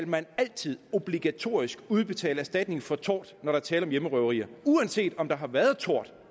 man altid obligatorisk udbetale erstatning for tort når der er tale om hjemmerøverier uanset om der har været tort